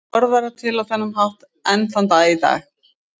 Orð verða til á þennan hátt enn þann dag í dag.